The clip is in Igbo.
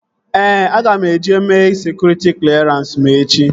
Ee, aga m eje mee sekụritị klerans m echi